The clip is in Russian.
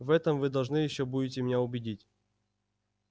в этом вы должны ещё будете меня убедить